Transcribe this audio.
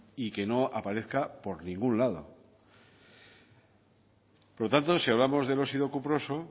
y que no aparezca por ningún lado por lo tanto si hablamos del óxido cuproso